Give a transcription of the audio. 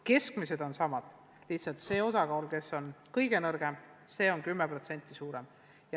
Keskmised hinded on samad, lihtsalt kõige nõrgemate osakaal on 10% suurem.